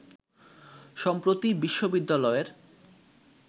সম্প্রতি বিশ্ববিদ্যালয়ের